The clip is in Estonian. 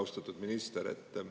Austatud minister!